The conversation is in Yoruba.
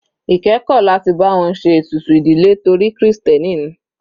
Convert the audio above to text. Ike kò láti bá wọn ṣe ètùtù ìdílé torí krìstẹ́nì ni.